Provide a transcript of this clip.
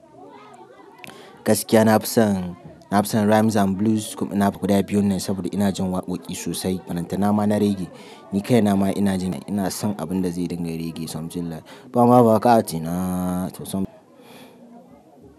Gaskiya na fi son, na fi son rhymes and blues kuma ina faɗa guda biyun ne saboda ina jin waƙoƙi sosai. Balantana ma na reggae. Ni kai na ma ina ji na, ina son abin da zai dinga reggae, something like, bana buƙata ina tausam.